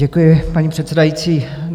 Děkuji, paní předsedající.